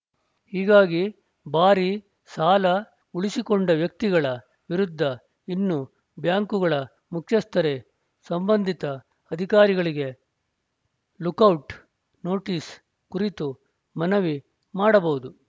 ಹೀಗಾಗಿ ಭಾರೀ ಸಾಲ ಉಳಿಸಿಕೊಂಡ ವ್ಯಕ್ತಿಗಳ ವಿರುದ್ಧ ಇನ್ನು ಬ್ಯಾಂಕುಗಳ ಮುಖ್ಯಸ್ಥರೇ ಸಂಬಂಧಿತ ಅಧಿಕಾರಿಗಳಿಗೆ ಲುಕೌಟ್‌ ನೋಟಿಸ್‌ ಕುರಿತು ಮನವಿ ಮಾಡಬಹುದು